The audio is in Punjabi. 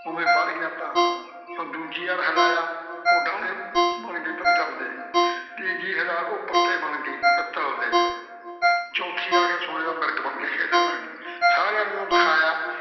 ਓਵੇਂ ਬਣ ਗਿਆ ਤਹਾਂ, ਜਦੋਂ ਦੂਜੀ ਵਾਰੀ ਹਿਲਾਇਆ ਉਹ ਡਾਹਣੇ ਬਣ ਗਏ ਪਿੱਤਲ ਦੇ, ਤੀਜੀ ਹਿਲਾਇਆ ਉਹ ਪੱਤੇ ਬਣ ਗਏ ਪਿੱਤਲ ਦੇ ਚੌਥੀ ਆ ਕੇ ਸੋਨੇ ਦਾ ਮਿਰਗ ਬਣ ਕੇ ਖੇਲ੍ਹਣ ਲੱਗ ਗਈ। ਸਾਰਿਆਂ ਨੂੰ ਦਿਖਾਇਆ।